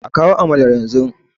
a kawo amalar yanzu!